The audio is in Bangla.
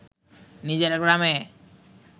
নিজের গ্রামে